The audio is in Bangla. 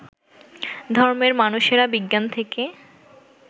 ধর্মের মানুষেরা বিজ্ঞান থেকে